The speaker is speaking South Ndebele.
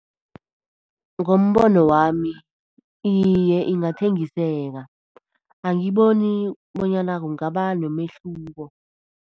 Ngombono wami iye, ingathengiseka. Angiboni bonyana kungaba nomehluko.